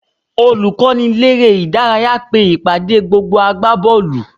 Olùkọ́niléré-ìdárayá pe ìpàdé gbogbo agbábọ́ọ̀lù